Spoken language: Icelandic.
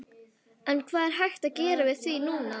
En hvað er hægt að gera við því núna?